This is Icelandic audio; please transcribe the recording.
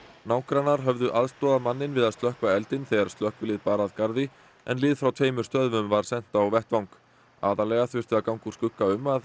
nágrannar höfðu aðstoðað manninn við að slökkva eldinn þegar slökkvilið bar að garði en lið frá tveimur stöðvum var sent á vettvang aðallega þurfti að ganga úr skugga um að